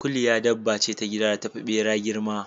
Kuliya dabba ce ta gida da tafi ɓera girma.